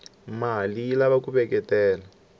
male yilava kuveketela